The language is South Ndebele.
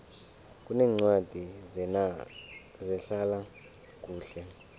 kuneencwadi zehlala kuhle